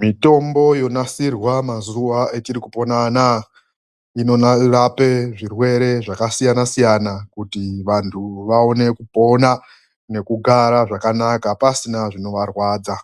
MITOMBO YONASIRWA MAZUWA ETIRIKUPONA ANAYA INORAPE ZVIRWERE ZVAKASIYANA SIYANA KUTI VANTU VAONE KUPONA NEKUGARA ZVAKANAKA PASINA ZVINOVARWADZA